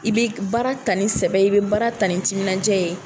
I bɛ baara ta ni sɛbɛ ye i bɛ baara ta ni timinadiya ye